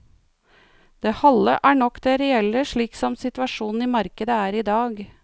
Det halve er nok det reelle slik som situasjonen i markedet er i dag.